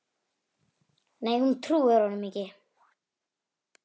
Nei hún trúir honum ekki.